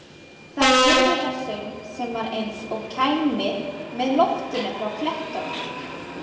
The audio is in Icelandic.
Þá heyrðu þær söng sem var eins og kæmi með loftinu frá klettunum.